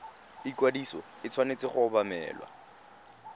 ikwadiso e tshwanetse go obamelwa